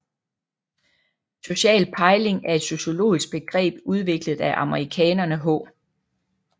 Social pejling er et sociologisk begreb udviklet af amerikanerne H